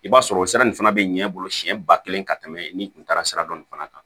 I b'a sɔrɔ o sira in fana bɛ ɲɛ i bolo siɲɛ ba kelen ka tɛmɛ n'i kun taara sira dɔ nin fana kan